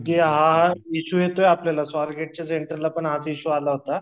म्हणजे हा इशू येतो आपल्याला स्वर गेटच्या सेंटरलापण हाच इशू आला होता